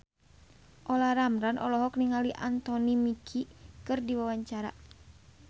Olla Ramlan olohok ningali Anthony Mackie keur diwawancara